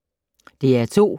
DR2